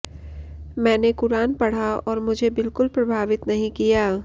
मैंने कुरान पढ़ा और मुझे बिल्कुल प्रभावित नहीं किया